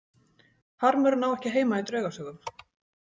Harmurinn á ekki heima í draugasögum.